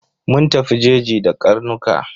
Mun tafi jeji da karnuka.